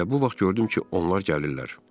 Elə bu vaxt gördüm ki, onlar gəlirlər.